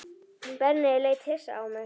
Benni leit hissa á mig.